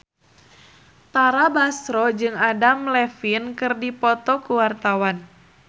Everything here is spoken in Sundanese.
Tara Basro jeung Adam Levine keur dipoto ku wartawan